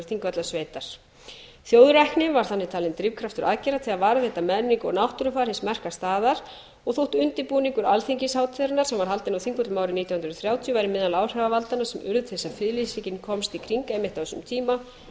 þingvallasveitar þjóðrækni var þannig drifkraftur aðgerða til að varðveita menningu og náttúrufar hins merka staðar og þótt undirbúningur alþingishátíðarinnar sem var haldinn á þingvöllum árið nítján hundruð og þrjátíu væri meðal áhrifavaldanna sem urðu til þess að friðlýsingin komst í kring einmitt á þeim tíma